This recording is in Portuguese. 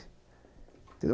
Entendeu?